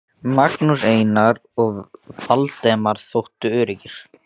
Magnús, Einar og Valdemar þóttu öruggir.